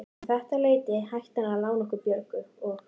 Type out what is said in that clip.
Um þetta leyti hætti hann að lána okkur Björgu og